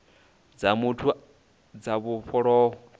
dza muthu dza u vhofholowa